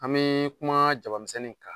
An bi kuma jaba misɛnnin kan.